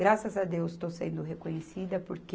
Graças a Deus estou sendo reconhecida, porque